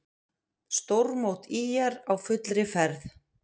Stórmót ÍR á fullri ferð